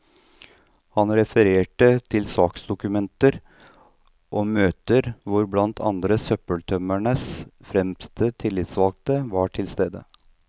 Han refererte til saksdokumenter og møter, hvor blant andre søppeltømmernes fremste tillitsvalgte var til stede.